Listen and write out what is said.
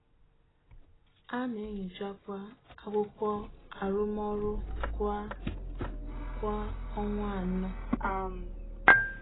A na-enyochakwa Akwụkwọ arụmọrụ kwa kwa ọnwa anọ.